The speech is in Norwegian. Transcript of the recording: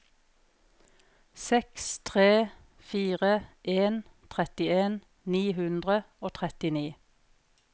seks tre fire en trettien ni hundre og trettini